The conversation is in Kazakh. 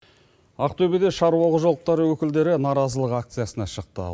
ақтөбеде шаруа қожалықтары өкілдері наразылық акциясына шықты